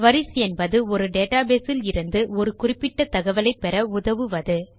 queries என்பது ஒரு database லிருந்து ஒரு குறிப்பிட்ட தகவலை பெற உதவுவது